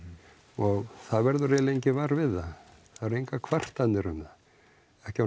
og það verður eiginlega enginn var við það það eru engar kvartanir um það ekki á